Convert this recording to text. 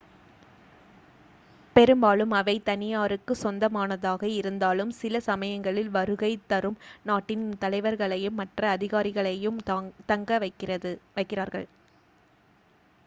பெரும்பாலும் அவை தனியாருக்கு சொந்தமானதாக இருந்தாலும் சில சமயங்களில் வருகை தரும் நாட்டின் தலைவர்களையும் மற்ற அதிகாரிகளையும் தங்க வைக்கிறார்கள்